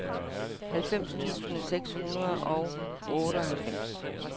halvfems tusind seks hundrede og otteoghalvfems